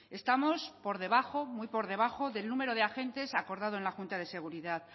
estamos por debajo muy por debajo del número de agentes acordado en la junta de seguridad